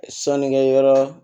Sɔnnikɛ yɔrɔ